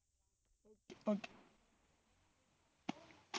okay